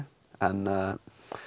en